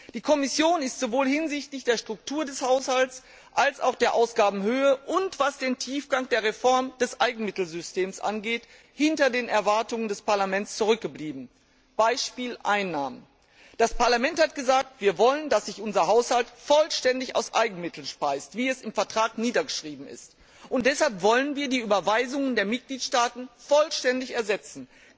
Die Kommission ist sowohl hinsichtlich der Struktur des Haushalts als auch der Ausgabenhöhe, und was den Tiefgang der Reform des Eigenmittelsystems angeht, hinter den Erwartungen des Parlaments zurückgeblieben. Beispiel Einnahmen Das Parlament hat gesagt, wir wollen, dass sich unser Haushalt vollständig aus Eigenmitteln speist, wie es im Vertrag niedergeschrieben ist, und deshalb wollen wir die Überweisungen der Mitgliedstaaten vollständig ersetzen.